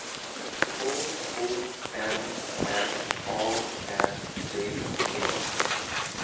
K O M M A N D E